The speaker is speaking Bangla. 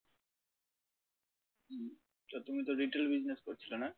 তো তুমি তো retail business করছিলে নাহ?